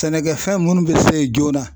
Sɛnɛkɛfɛn munnu be se joona.